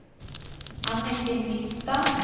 Anniken Nystad